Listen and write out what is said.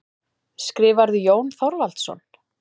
Skrifarðu, Jón Þorvaldsson?